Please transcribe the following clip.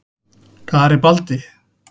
Garibaldi